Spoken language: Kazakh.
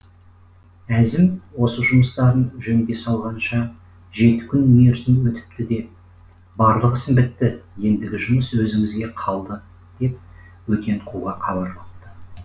әзім осы жұмыстарын жөнге салғанша жеті күн мерзім өтіпті де барлық ісім бітті ендігі жұмыс өзіңізге қалды деп өтен қуға хабарлапты